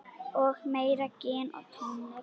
Og meira gin og tónik.